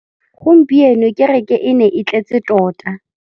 Gompieno kêrêkê e ne e tletse tota.